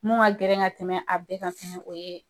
Mun ka gɛlɛn ka tɛmɛ a bɛɛ ka fɛnɛ o ye